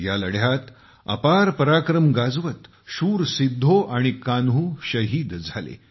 या लढ्यात अपार पराक्रम गाजवत शूर सिद्धो आणि कान्हू शहीद झाले